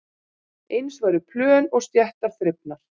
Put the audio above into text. Eins væru plön og stéttar þrifnar